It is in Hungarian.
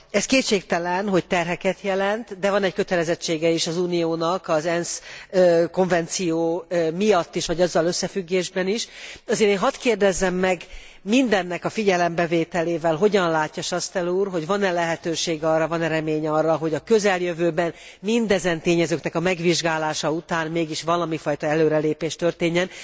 Ez kétségtelen, hogy terheket jelent, de van egy kötelezettsége is az Uniónak, az ENSZ konvenció miatt is vagy azzal összefüggésben is, ezért én hadd kérdezzem meg mindennek a figyelembevételével, hogyan látja Chastel úr, hogy van e lehetőség arra, van e remény arra, hogy a közeljövőben mindezen tényezőknek a megvizsgálása után mégis valamiféle előrelépés történjen.